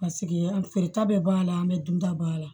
Paseke an feereta bɛ b'a la an bɛ dunta b'a la